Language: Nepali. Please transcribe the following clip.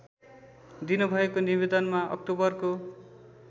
दिनुभएको निवेदनमा अक्टोबरको